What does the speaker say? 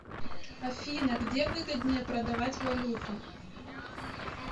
афина где выгоднее продавать валюту